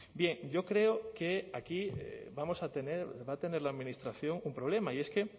bien yo creo que aquí vamos a tener va a tener la administración un problema y es que